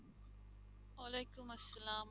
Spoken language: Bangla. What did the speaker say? ওয়ালাইকুম আসসালাম